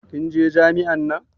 Kin je jami'in nan?